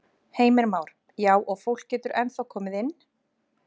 Heimir Már: Já og fólk getur ennþá komið inn?